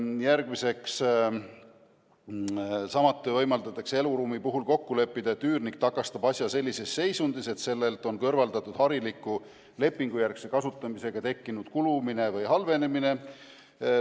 Järgmiseks, samuti võimaldatakse eluruumi puhul kokku leppida, et üürnik tagastab asja sellises seisundis, et sellelt on kõrvaldatud hariliku lepingujärgse kasutamise käigus tekkinud kulumise või halvenemise ilmingud.